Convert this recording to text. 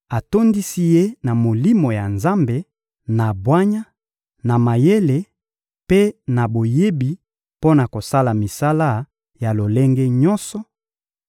atondisi ye na Molimo ya Nzambe, na bwanya, na mayele mpe na boyebi mpo na kosala misala ya lolenge nyonso: